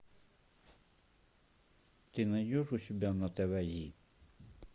ты найдешь у себя на тв зи